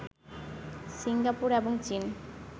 Singapore এবং চীন